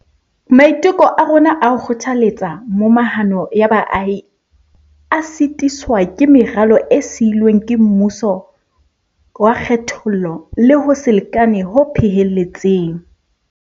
Maiteko a rona a ho kgothaletsa momahano ya baahi a sitiswa ke meralo e siilweng ke mmuso wa kgethollo le ho se lekane ho phehelletseng.